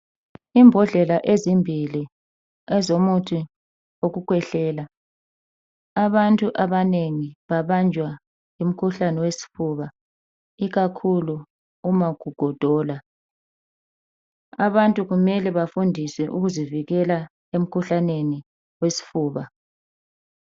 imbodlela ezimbili ezomuthi wokukhwehlela abantu abanengi ababnjwa ngumkhuhlane wofuba ikakhulu uma kugodola abantu kumele bafundiswe ukuzivikela emkhuhlaneni wesifuba